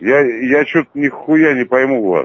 я я что-то нихуя не пойму вас